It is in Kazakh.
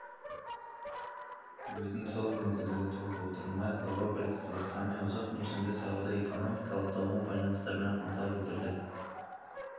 білудің зор мүмкіндігі туып отыр майкл робертс қазақстанмен ұзақ мерзімді сауда-экономикалық даму байланыстарына ынта білдірді